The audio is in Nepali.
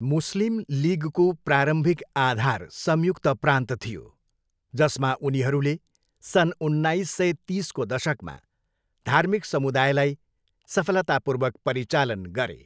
मुस्लिम लिगको प्रारम्भिक आधार संयुक्त प्रान्त थियो, जसमा उनीहरूले सन् उन्नाइस सय तिसको दशकमा धार्मिक समुदायलाई सफलतापूर्वक परिचालन गरे।